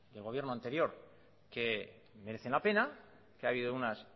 del gobierno anterior que merecen la pena que ha habido unas